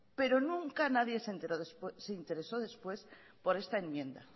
pero nunca nadie se interesó después por esta enmienda